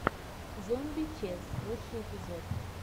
зомби чез лучший эпизод